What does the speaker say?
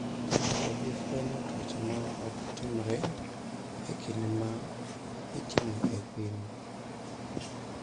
Ok obi fwenyo tuoche ma ok timore e kinde ma itimoe pim.